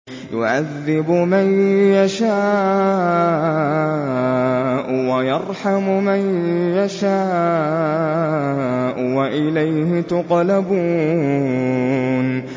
يُعَذِّبُ مَن يَشَاءُ وَيَرْحَمُ مَن يَشَاءُ ۖ وَإِلَيْهِ تُقْلَبُونَ